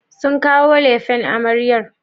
Sun kawo lefen amaryar?